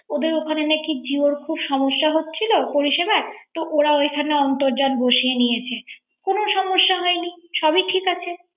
ওদের ওখানে নাকি জিওর খুব সমস্যা হয়েছিল পরিসেবাই। তো ওরা ওখানে অর্ন্তজান বসিয়ে নিয়েছে। কোন সমস্যা হয়নি